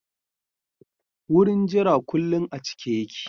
Wurin jira kullin a cike yake.